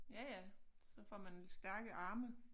Ja ja så får man stærke arme